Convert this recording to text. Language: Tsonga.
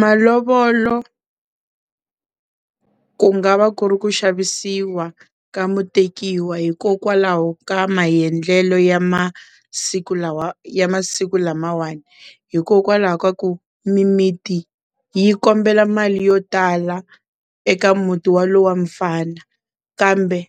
Malovolo ku nga va ku ri ku xavisiwa ka mutekiwa hikokwalaho ka maendlelo ya masiku lawa, ya masiku lamawani hikokwalaho ka ku mimiti yi kombela mali yo tala eka muti wolowo mfana kambe